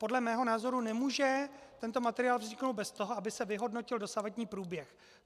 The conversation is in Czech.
Podle mého názoru nemůže tento materiál vzniknout bez toho, aby se vyhodnotil dosavadní průběh.